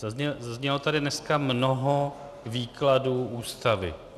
Zaznělo tady dneska mnoho výkladů Ústavy.